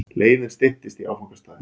Leiðin styttist í áfangastaðinn.